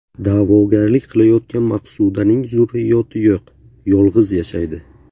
Da’vogarlik qilayotgan Maqsudaning zurriyoti yo‘q, yolg‘iz yashaydi.